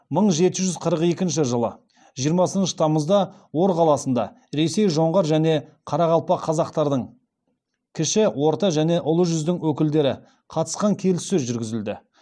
мың жеті жүз қырық екінші жылы жиырмасыншы тамызда ор қаласында ресей жоңғар және қарақалпақ қазақтардың кіші орта және ұлы жүздің өкілдері қатысқан келіссөз жүргізілді